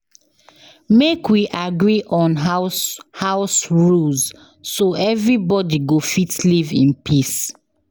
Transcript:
Make we agree on house house rules so everybody go fit live in peace.